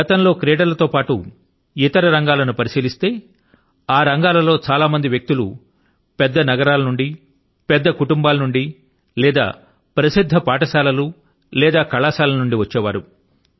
గతం లో క్రీడల తో పాటు ఇతర రంగాల ను పరిశీలిస్తే ఆ రంగాల లో చాలా మంది వ్యక్తులు పెద్ద నగరాల నుండి పెద్ద కుటుంబాల నుండి లేదా ప్రసిద్ధ పాఠశాలల నుండి లేదా కళాశాలల నుండి వచ్చే వారు